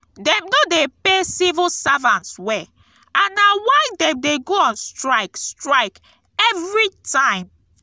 dem no dey pay civil servants well and na why dem dey go on strike strike every time